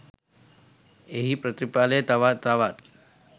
එහි ප්‍රතිඵලය තව තවත්